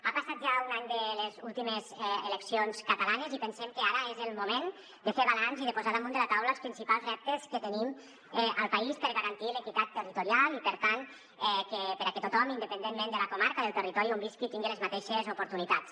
ha passat ja un any de les últimes eleccions catalanes i pensem que ara és el moment de fer balanç i de posar damunt la taula els principals reptes que tenim al país per garantir l’equitat territorial i per tant perquè tothom independentment de la comarca o del territori on visqui tingui les mateixes oportunitats